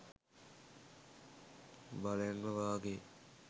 බලෙන්ම වාගෙයි.